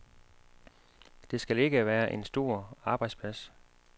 Det skal ikke være en stor arbejdsplads.